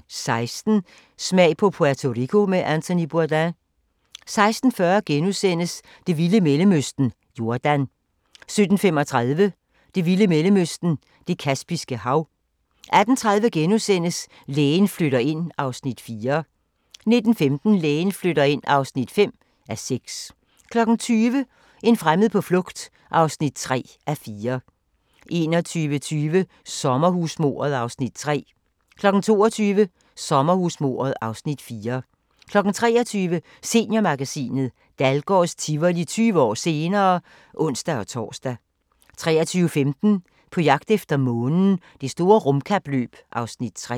16:00: Smag på Puerto Rico med Anthony Bourdain 16:40: Det vilde Mellemøsten – Jordan * 17:35: Det vilde Mellemøsten – Det Kaspiske Hav 18:30: Lægen flytter ind (4:6)* 19:15: Lægen flytter ind (5:6) 20:00: En fremmed på flugt (3:4) 21:20: Sommerhusmordet (Afs. 3) 22:00: Sommerhusmordet (Afs. 4) 23:00: Seniormagasinet – Dahlgårds Tivoli 20 år senere (ons-tor) 23:15: På jagt efter månen – Det store rumkapløb (Afs. 3)